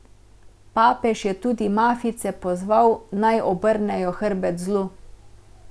Papež je tudi mafijce pozval, naj obrnejo hrbet zlu.